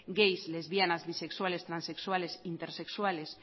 gays lesbianas bisexuales transexuales intersexuales